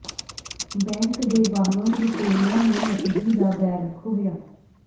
bank ਦੇ ਬਾਹਰੋਂ ਲੁਟੇਰਿਆਂ ਨੇ ਨਕਦੀ ਦਾ ਬੈਗ ਖੋਹਿਆ